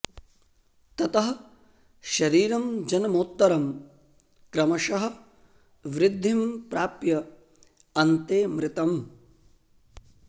ततः शरीरं जन्मोत्तरं क्रमशः वृद्धिं प्राप्य अन्ते मृतम्